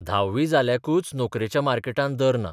Dhabi जाल्ल्याकूच नोकरेच्या मार्केटांत दर ना.